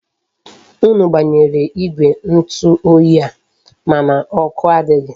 Unu gbanyere igwe ntu oyi a, mana oku adighi.